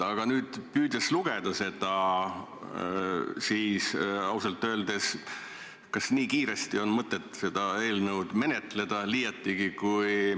Aga nüüd, püüdes lugeda seda eelnõu, siis ausalt öeldes tekib küsimus, kas nii kiiresti on mõtet seda menetleda.